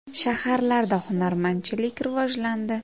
Shaharlarda hunarmandchilik rivojlandi.